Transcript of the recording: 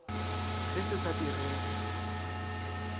ge se se sa direge